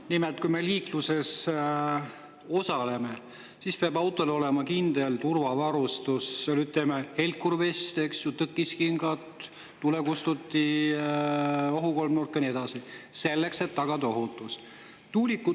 Nimelt, kui me liikluses osaleme, siis peab olema kindel turvavarustus – helkurvest, auto tõkiskingad, tulekustuti, ohukolmnurk ja nii edasi –, selleks et tagada ohutus.